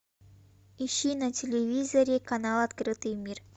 ищи на телевизоре канал открытый мир